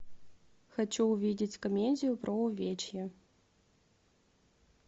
хочу увидеть комедию про увечья